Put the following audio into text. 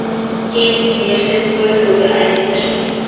Keyin universitet TOEFL’ga ariza tashlagan.